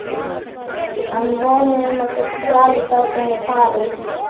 Hann voni að hún geti dvalist áfram í París.